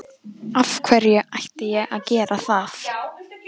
Af hverju ætti ég að gera það?